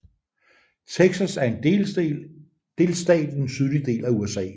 Texas er en delstat i den sydlige del af USA